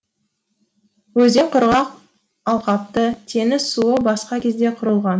өзен құрғақ алқапты теңіз суы басқан кезде құрылған